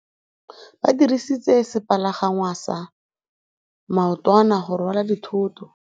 Ba dirisitse sepalangwasa maotwana go rwala dithôtô.